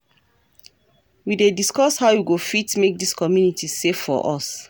We dey discuss how we go fit make dis community safe for us.